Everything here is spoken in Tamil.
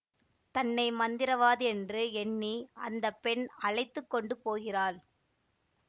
தன்னை மந்திரவாதியென்று எண்ணி அந்த பெண் அழைத்து கொண்டு போகிறாள்